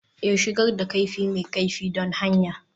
Ee, shigar da kaifi mai kaifi don hanya